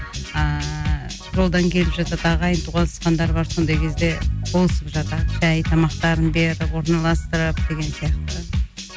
ыыы жолдан келіп жатады ағайын туысқандар бар сондай кезде болысып жатады шәй тамақтарын беріп орналастырып деген сияқты